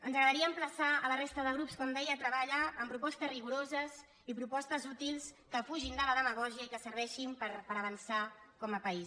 ens agradaria emplaçar la resta de grups com deia a treballar amb propostes rigoroses i propostes útils que fugin de la demagògia i que serveixin per avançar com a país